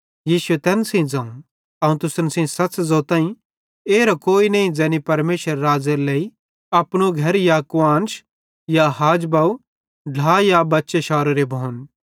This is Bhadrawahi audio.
यीशु तैन सेइं ज़ोवं अवं तुसन सच़ ज़ोताईं कि एरो कोई नईं ज़ैनी परमेशरेरे राज़्ज़ेरे लेइ अपनू घर या कुआन्श ते हाज या बव ढ्ला या बच्चे शारोरे भोन